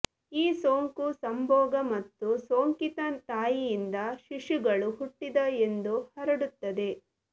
ಈ ಸೋಂಕು ಸಂಭೋಗ ಮತ್ತು ಸೋಂಕಿತ ತಾಯಿಯಿಂದ ಶಿಶುಗಳು ಹುಟ್ಟಿದ ಎಂದು ಹರಡುತ್ತದೆ